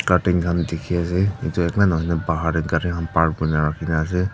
curtain kahn dikhiase edu akela nahoi na bahar tae gari khan park kurina rakhina ase.